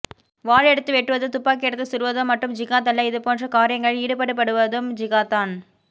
வாள் எடுத்து வெட்டுவதோ துப்பாக்கி எடுத்து சுடுவதோ மட்டும் ஜிகாத் அல்ல இது போன்ற காரியங்களில் ஈடுபடுபடுவதும் ஜிகாத்தான்